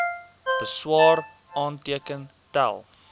beswaar aanteken tel